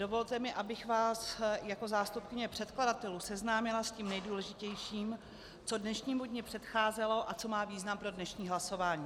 Dovolte mi, abych vás jako zástupkyně předkladatelů seznámila s tím nejdůležitějším, co dnešnímu dni předcházelo a co má význam pro dnešní hlasování.